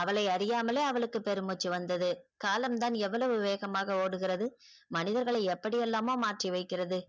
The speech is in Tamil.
அவளை அறியாமலே அவளுக்கு பெரும் மூச்சி வந்தது காலம் தான் எவ்வளவு வேகமாக ஓடுகிறது மனிதர்களை எப்படியெல்லாமோ மாற்றி வைக்கிறது.